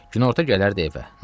Günorta gələrdi evə.